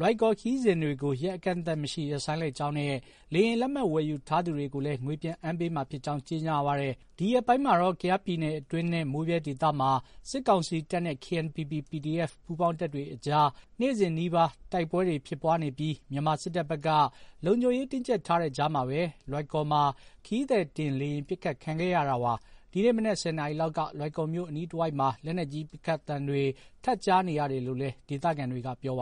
လွိုင်ကော်ခရီးစဉ်တွေကို ရက်အကန့်အသတ်မရှိ ရပ်ဆိုင်းလိုက်ကြောင်းနဲ့ လေယာဉ်လက်မှတ် ဝယ်ယူထားသူတွေကိုလည်း ငွေပြန်အမ်းပေးမှာဖြစ်ကြောင်း ကြေညာပါတယ်။ ဒီရက်ပိုင်းမှာတော့ ကယားပြည်နယ်အတွင်းနဲ့ မိုးဗြဲဒေသမှာ စစ်ကောင်စီတပ်နဲ့ KNPP ၊ PDF ပူးပေါင်းတပ်တွေအကြားမှာ နေ့စဉ်နီးပါး တိုက်ပွဲတွေ ဖြစ်ပွားနေပြီး မြန်မာစစ်တပ်ဘက်က လုံခြုံရေး တင်းကြပ်ထားတဲ့ကြားမှာပဲ လွိုင်ကော်မှာ ခရီးသည်တင်လေယာဉ် ပစ်ခတ်ခံခဲ့ရတာပါ။ ဒီနေ့ မနက် ၁၀ နာရီလောက်က လွိုင်ကော်မြို့ အနီးတဝိုက်မှာ လက်နက်ကြီး ပစ်ခတ်သံတွေ ထပ်ကြားနေရတယ်လို့လည်း ဒေသခံတွေက ပြောပါ